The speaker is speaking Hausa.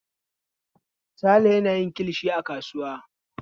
Sale yana yin kilishi a kasuwa.